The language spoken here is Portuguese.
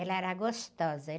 Ela era gostosa.